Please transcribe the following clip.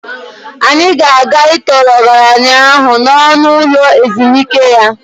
Anyị ga-aga ịtọọrọ ọgaranya ahụ n'ọnụ ụlọ ụlo ezumike ya.